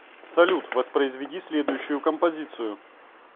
салют воспроизведи следующую композицию